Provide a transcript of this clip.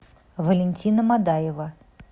валентина мадаева